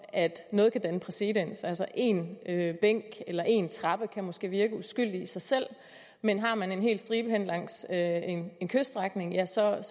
at noget kan danne præcedens altså én bænk eller én trappe kan måske virke uskyldig i sig selv men har man en hel stribe hen langs en kyststrækning ja så er